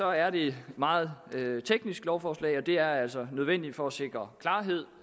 er det et meget teknisk lovforslag og det er altså nødvendigt for at sikre klarhed